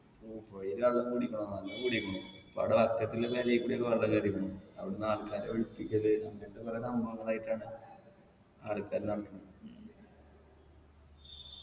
ഓ പൊഴേല് വെള്ളം കൂടിക്കണോന്നാ നല്ലോം കൂടീക്കണു ഇപ്പവിട കൂടിയൊക്കെ വെള്ളം കേറീക്കണു അവിടന്ന് ആൾക്കാരെ ഒഴിപ്പിക്കല് അങ്ങനത്തെ കൊറേ സംഭവങ്ങളായിട്ടാണ് ആൾക്കാര്